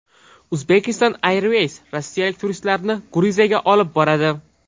Uzbekistan Airways rossiyalik turistlarni Gruziyaga olib boradi.